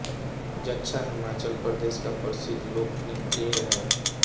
जद्दा हिमाचल प्रदेश का परिद्ध लोक नृत्य है